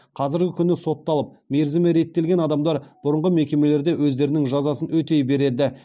қазіргі күні сотталып мерзімі реттелген адамдар бұрынғы мекемелерде өздерінің жазасын өтей береді